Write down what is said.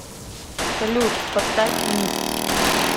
салют поставь нид